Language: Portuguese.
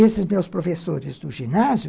Esses meus professores do ginásio,